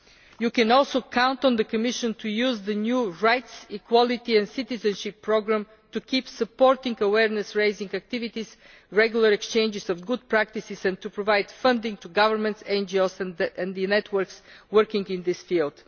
You can also count on the Commission to use the new Rights, Equality and Citizenship Programme to keep supporting awareness raising activities and regular exchanges of good practices and to provide funding to governments, NGOs and the networks working in this field.